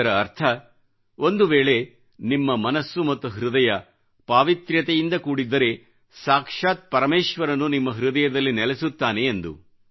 ಇದರ ಅರ್ಥ ಒಂದುವೇಳೆ ನಿಮ್ಮ ಮನಸ್ಸು ಮತ್ತು ಹೃದಯ ಪಾವಿತ್ರ್ಯತೆಯಿಂದ ಕೂಡಿದ್ದರೆಸಾಕ್ಷಾತ್ ಪರಮೇಶ್ವರನು ನಿಮ್ಮ ಹೃದಯದಲ್ಲಿ ನೆಲೆಸುತ್ತಾನೆ ಎಂದು